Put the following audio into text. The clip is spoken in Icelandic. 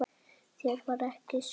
Þér var ekki sama.